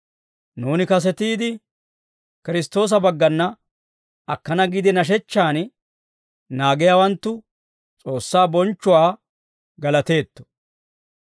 Nuuni kasetiide, Kiristtoosa baggana akkana giide nashechchan naagiyaawanttu, S'oossaa bonchchuwaa galateetto.